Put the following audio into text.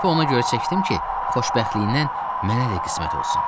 Sapı ona görə çəkdim ki, xoşbəxtliyindən mənə də qismət olsun.